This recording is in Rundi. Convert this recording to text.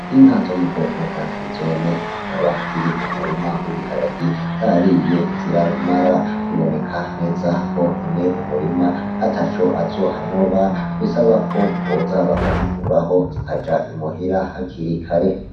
Inka zo mu bwoko bwa frizone zikaba ziri mu murima wa ibiharage zariye zirabimara, biboneka neza ko nyene umurima ataco azohanoba bisabako boza bakazikuraho zikaja imuhira hakiri kare.